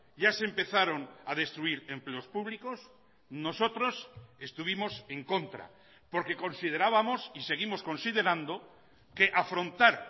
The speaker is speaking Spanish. ya se empezaron a destruir empleos públicos nosotros estuvimos en contra porque considerábamos y seguimos considerando que afrontar